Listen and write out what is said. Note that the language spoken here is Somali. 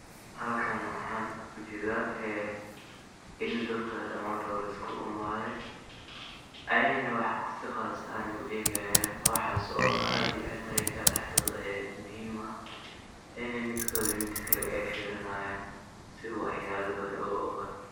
Halkan waxan ujeda ee, ini dadka damantodh liskulaimade, ayna si wax qaas ahan eh uegihayan, waxas oo aad iyo aad ayaga daxdoda muxiim ah, ayna midkodha midkakale ay firini hayan, si waxyala badan loogado.